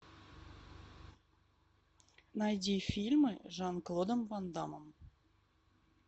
найди фильмы с жан клодом ван даммом